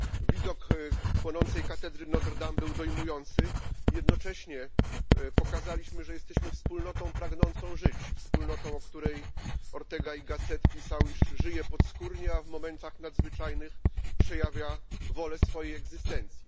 Widok płonącej katedry Notre Dame był dojmujący. Jednocześnie pokazaliśmy, że jesteśmy wspólnotą pragnącą żyć. Wspólnotą, o której Ortega y Gasset pisał, iż żyje podskórnie, a w momentach nadzwyczajnych przejawia wolę swojej egzystencji.